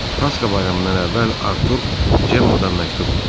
Pasxa bayramından əvvəl Artur Cemma-dan məktub aldı.